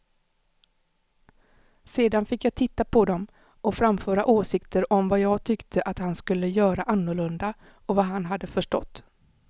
Sedan fick jag titta på dem och framföra åsikter om vad jag tyckte att han skulle göra annorlunda och vad han hade förstått.